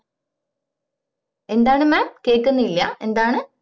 എന്താണ് mam കേക്കുന്നില്ല എന്താണ്